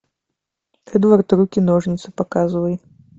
эдвард руки ножницы показывай